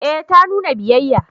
Eh ta nuna biyayya